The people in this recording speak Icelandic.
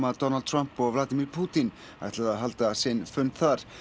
að Donald Trump og Vladimir Pútín ætluðu að halda sinn fund þar